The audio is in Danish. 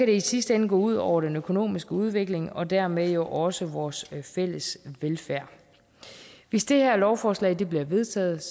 det i sidste ende gå ud over den økonomiske udvikling og dermed jo også vores fælles velfærd hvis det her lovforslag bliver vedtaget